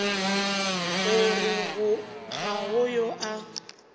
gore ga go yo a